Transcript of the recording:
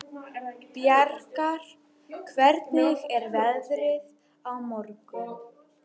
Bjargar, hvernig er veðrið á morgun?